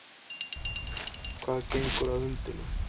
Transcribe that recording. Hvað gengur að hundinum?